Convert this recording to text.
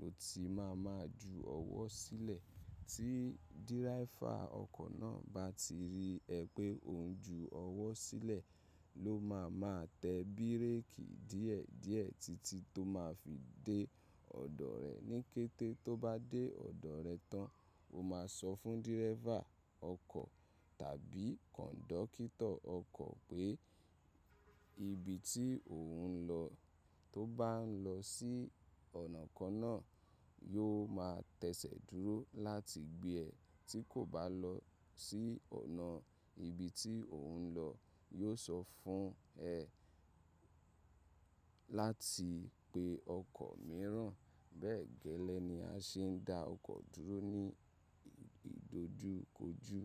lọ, tí ma ma ju ọwọ́ sílẹ̀. Tí dírẹ́fà ọkọ̀ náà bá ti rí ẹ pé ò ń ju ọwọ́ sílẹ̀, ló máa ma tẹ bíréèkì díẹ̀ díẹ̀ títí tó máa fi dé ọ̀dọ̀ rẹ. Ni kété tó bá dé ọ̀dọ̀ rẹ tán, o máa sọ fún dírẹ́fà ọkọ̀ tàbí kọ̀ńdọ́kítọ̀ ọkọ̀ pé ibi tí ò ń lọ. To bá ń lọ sí ọ̀nà kan náà, yóò ma tẹsẹ̀ dúró láti gbé ẹ. Tí kò bá lọ sí ọ̀nà ibi tí ò ń lọ, yóò sọ fún ẹ láti pe ọkọ̀ mìíràn. Bẹ́ẹ̀ gẹ́lẹ́ ni a ṣe ń dá ọkọ̀ dúró ní ìdojúkojú.